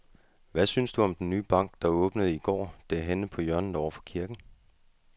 Hvad synes du om den nye bank, der åbnede i går dernede på hjørnet over for kirken?